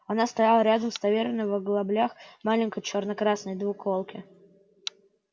она стояла рядом с таверной в оглоблях маленькой черно-красной двуколки